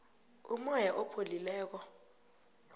umoya opholileko